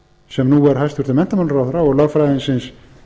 sem nú er hæstvirtur menntamálaráðherra og lögfræðingsins